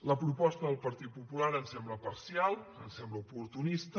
la proposta del partit popular ens sembla parcial ens sembla oportunista